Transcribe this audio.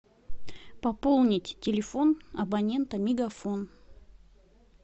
пополнить телефон абонента мегафон